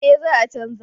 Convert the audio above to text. Eh za a chanza